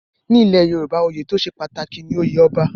Ní ilẹ̀ Yorùbá, oyè tó ṣe pàtàkì jù ni oyè Ọba.